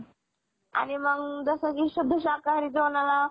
आणि मग जसं की शुद्ध शाकाहारी जेवणाला